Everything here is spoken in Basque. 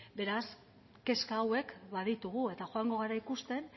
beraz kezka hauek baditugu eta joango gara ikusten